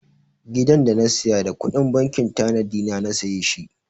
Gidan da na saya da kuɗin bankin tanadi na na saye shi.